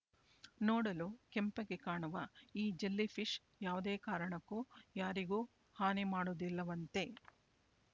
ನೋಡಲು ಕೆಂಪಗೆ ಕಾಣುವ ಈ ಜೆಲ್ಲಿ ಫಿಶ್ ಯಾವುದೇ ಕಾರಣಕ್ಕೂ ಯಾರಿಗೂ ಹಾನಿ ಮಾಡುವುದಿಲ್ಲವಂತೆ